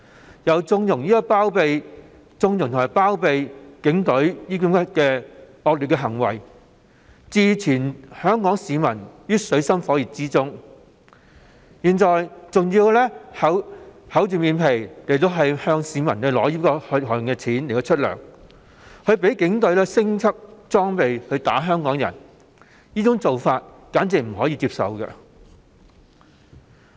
此外，她又縱容及包庇警隊的惡劣行為，置全港市民於水深火熱之中，現在更要厚着臉皮動用市民的血汗錢支付薪金，讓警隊提升裝備毆打香港人，這做法完全不能接受。